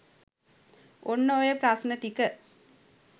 ඔන්න ඔය ප්‍රශ්න ටික